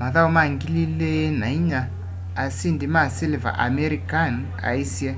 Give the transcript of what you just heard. mathau ma 2004 ma asindi ma siliva amir khan aisye